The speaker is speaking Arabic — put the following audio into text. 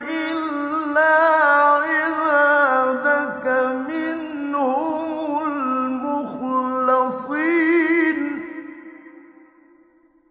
إِلَّا عِبَادَكَ مِنْهُمُ الْمُخْلَصِينَ